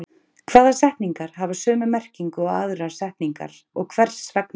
Hvaða setningar hafa sömu merkingu og aðrar setningar og hvers vegna?